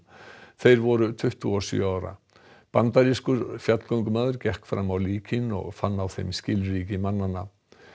þeir voru tuttugu og sjö ára bandarískur fjallgöngumaður gekk fram á líkin og fann á þeim skilríki mannanna